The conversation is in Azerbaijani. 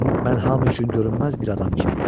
Mən hamı üçün görünməz bir adam kimiyəm.